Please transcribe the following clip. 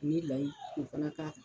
Ni layi k'o fana k'a kan